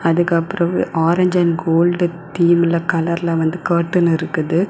அதுக்கப்புறம் orange and gold தீம்ல கலர்ல வந்து கர்டென் இருக்குது.